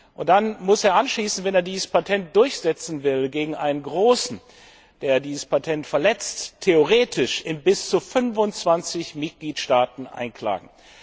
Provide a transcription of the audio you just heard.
Und dann muss er anschließend, wenn er dieses Patent durchsetzen will, gegen einen Großen, der dieses Patent verletzt, theoretisch in bis zu 25 Mitgliedstaaten klagen.